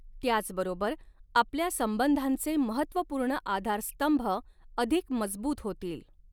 त्याचबरोबर, आपल्या संबंधांचे महत्वपूर्ण आधार स्तंभ अधिक मजबूत होतील.